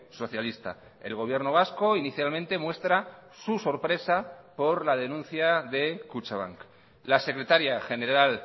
socialista el gobierno vasco inicialmente muestra su sorpresa por la denuncia de kutxabank la secretaria general